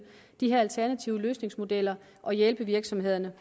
de her alternative løsningsmodeller og hjælpe virksomhederne